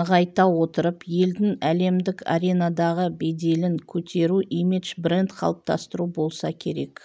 нығайта отырып елдің әлемдік аренадағы беделін көтеру имидж бренд қалыптастыру болса керек